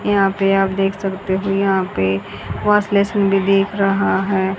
यहां पे आप देख सकते हो यहां पे भी दिख रहा है।